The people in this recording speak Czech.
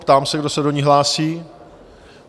Ptám se, kdo se do ní hlásí?